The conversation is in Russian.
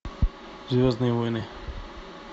звездные войны